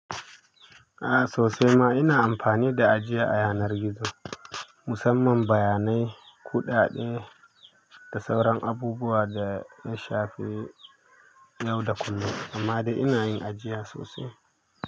A'a sosai ma ina amfani da ajiya ayanar gizo. Musamman bayanai, kuɗaɗe da sauran abubuwa da na shafe yau da kullum, amma dai ina yin ajiya sosai.